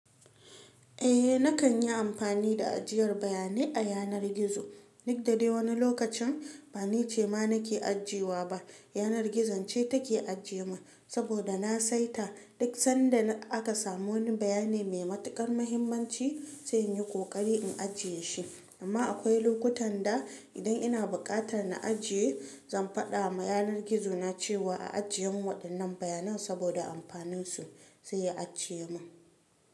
Eh nakan yi amfani da ajiyar bayanai a yanar gizo, duk da dai wani lokacin ba ni ce ma nake ajiyewa ba, yanar gizon ce take ajiye mun saboda na saita duk sanda aka samu wani bayanai mai matuƙar muhimmanci sai in yi ƙoƙari in ajiye shi. Amma akwai lokutan da idan ina buƙatar na ajiye, zan faɗa ma yanar gizo na cewa a ajiye mun waɗannan bayanan saboda amfanin su sai ya ajiye min.